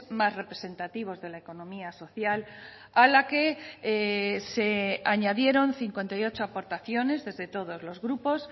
más representativos de la economía social a la que se añadieron cincuenta y ocho aportaciones desde todos los grupos